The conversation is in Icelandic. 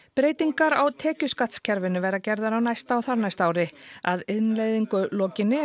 breytingar á tekjuskattskerfinu verða gerðar á næsta og þarnæsta ári að innleiðingu lokinni